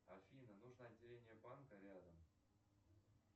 афина нужно отделение банка рядом